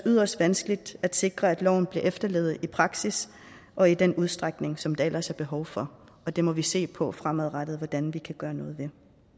yderst vanskeligt at sikre at loven bliver efterlevet i praksis og i den udstrækning som der ellers er behov for og det må vi se på fremadrettet hvordan vi kan gøre noget ved